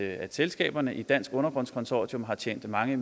at selskaberne i dansk undergrunds consortium har tjent mange